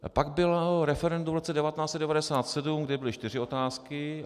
Pak bylo referendum v roce 1997, kde byly čtyři otázky.